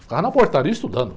Ficava na portaria estudando.